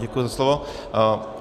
Děkuji za slovo.